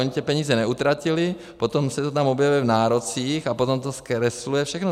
Oni ty peníze neutratili, potom se to tam objevuje v nárocích a potom to zkresluje všechno.